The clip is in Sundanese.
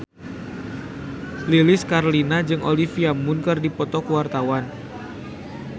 Lilis Karlina jeung Olivia Munn keur dipoto ku wartawan